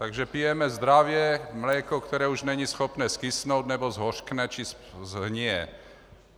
Takže pijeme zdravě mléko, které už není schopné zkysnout, nebo zhořkne či shnije.